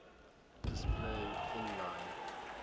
display inline